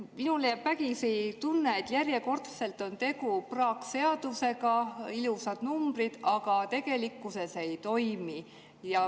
Minule jääb vägisi tunne, et järjekordselt on tegu praakseadusega, kus on ilusad numbrid, aga mis tegelikkuses ei toimi.